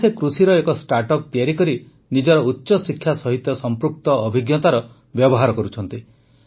ଏବେ ସେ କୃଷିର ଏକ ଷ୍ଟାର୍ଟ୍ଅପ୍ ତିଆରି କରି ନିଜର ଉଚ୍ଚଶିକ୍ଷା ସହିତ ସମ୍ପୃକ୍ତ ଅଭିଜ୍ଞତାର ବ୍ୟବହାର କରୁଛନ୍ତି